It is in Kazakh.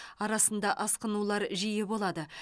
арасында асқынулар жиі болады